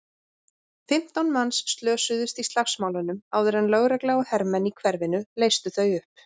Fimmtán manns slösuðust í slagsmálunum áður en lögregla og hermenn í hverfinu leystu þau upp.